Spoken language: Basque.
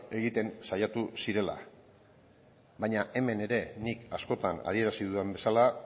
egiten saiatu zirela baina hemen ere nik askotan adierazi dudan bezala